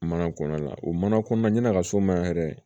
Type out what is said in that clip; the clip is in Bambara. Mana kɔnɔna la o mana kɔnɔnaso ma yɛrɛ